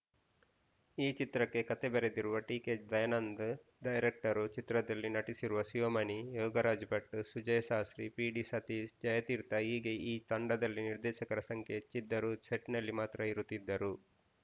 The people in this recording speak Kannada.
ಈ ಚಿತ್ರಕ್ಕೆ ಕತೆ ಬರೆದಿರುವ ಟಿ ಕೆ ದಯಾನಂದ್ ಡೈರೆಕ್ಟ್ರು ಚಿತ್ರದಲ್ಲಿ ನಟಿಸಿರುವ Shivamani Yogaraj Bhat Sujesha C P D Satish Jayatheertha ಹೀಗೆ ಈ ತಂಡದಲ್ಲಿ ನಿರ್ದೇಶಕರ ಸಂಖ್ಯೆ ಹೆಚ್ಚಿದ್ದರು ಸೆಟ್‌ನಲ್ಲಿ ಮಾತ್ರ ಇರುತ್ತಿದ್ದರು